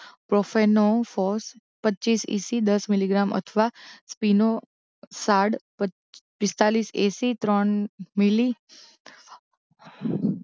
પ્રોફેનોફોર પચ્ચીસ ઇસી દસ મિલીગ્રામ અથવા સ્પીનોસાડ પચ પિસ્તાલીસ ઇસી ત્રણ મિલી